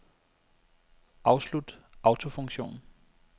Afslut autofunktion.